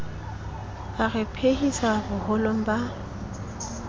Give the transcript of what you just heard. a re phephisa boholong ba